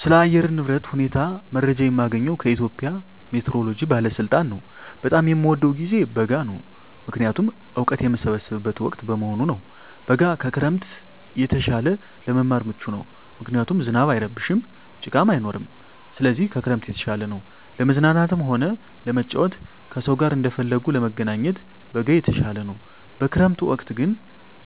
ስለ አየር ንብረት ሁኔታ መረጃ የማገኘዉ ከኢትዮጵያ ሜትሮሎጂ ባለስልጣን ነዉ። በጣም የምወደዉ ጊዜ በጋ ነዉ ምክንያቱም እወቀት የምሰበስብበት ወቅት በመሆኑ ነዉ። በጋ ከክረምት የተሻለ ለመማር ምቹ ነዉ ምክንያቱም ዝናብ አይረብሽም ጭቃም አይኖርም ስለዚህ ከክረምት የተሻለ ነዉ። ለመዝናናትም ሆነ ለመጫወት ከሰዉ ጋር እንደፈለጉ ለመገናኘት በጋ የተሻለ ነዉ። በክረምት ወቅት ግን